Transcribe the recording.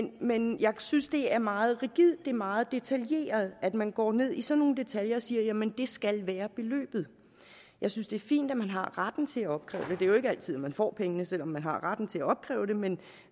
men jeg synes det er meget rigidt det er meget detaljeret at man går ned i sådan nogle detaljer og siger jamen det skal være beløbet jeg synes det er fint at man har retten til at opkræve det det er jo ikke altid man får pengene selv om man har retten til at opkræve dem men